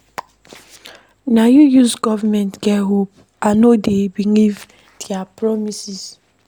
Na you use government get hope, I no dey believe their promise.